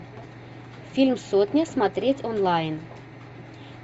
фильм сотня смотреть онлайн